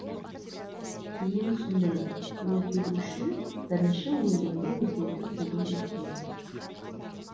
кейін түсіндім өзгеру үшін бірінші өзіңді өзгерту керек екен